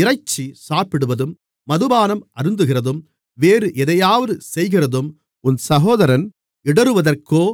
இறைச்சி சாப்பிடுவதும் மதுபானம் அருந்துகிறதும் வேறு எதையாவது செய்கிறதும் உன் சகோதரன் இடறுவதற்கோ